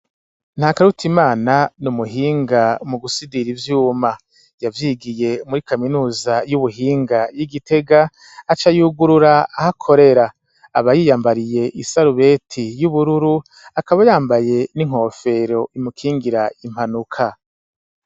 Nta karuta imana ni umuhinga mu gusidira ivyuma yavyigiye muri kaminuza y'ubuhinga y'igitega aca yugurura aho akorera aba yiyambariye isarubeti y'ubururu akaba yambaye n'inkofero imukingira impanuka.